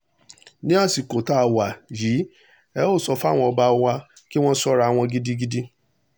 ní àsìkò tá a wà yìí ẹ ẹ sọ fáwọn ọba wa kí wọ́n ṣọ́ra wọn gidigidi